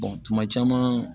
tuma caman